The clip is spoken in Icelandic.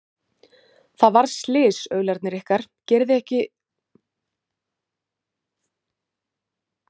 Það varð slys, aularnir ykkar, gerið þið ykkur ekki grein fyrir því?